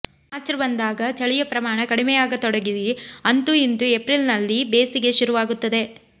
ಮಾಚ್ರ್ ಬಂದಾಗ ಚಳಿಯ ಪ್ರಮಾಣ ಕಡಿಮೆಯಾಗತೊಡಗಿ ಅಂತೂ ಇಂತೂ ಏಪ್ರಿಲ್ನಲ್ಲಿ ಬೇಸಿಗೆ ಶುರುವಾಗುತ್ತದೆ